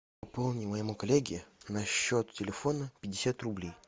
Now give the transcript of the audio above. пополни моему коллеге на счет телефона пятьдесят рублей